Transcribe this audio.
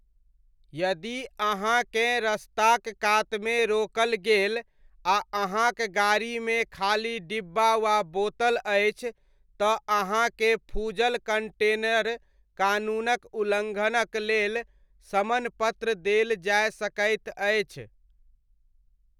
यदि अहाँकेँ रस्ताक कातमे रोकल गेल आ अहाँक गाड़ीमे खाली डिब्बा वा बोतल अछि तँ अहाँकेँ फूजल कण्टेनर कानूनक उल्लङ्घनक लेल समन पत्र देल जाय सकैत अछि।